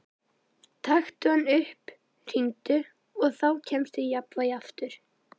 Taktu hann upp, hringdu, og þá kemstu í jafnvægi aftur.